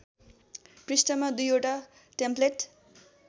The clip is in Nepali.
पृष्ठमा दुईवटा टेम्प्लेट